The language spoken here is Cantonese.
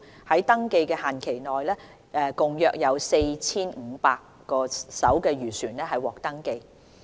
在登記限期內，共約有 4,500 艘漁船獲登記。